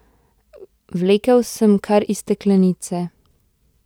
Vlekel sem kar iz steklenice.